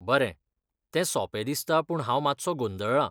बरें, ते सोपें दिसता पूण हांव मात्सो गोंदळ्ळा.